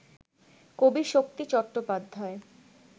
কবি শক্তি চট্টোপাধ্যায়